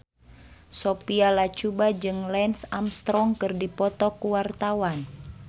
Sophia Latjuba jeung Lance Armstrong keur dipoto ku wartawan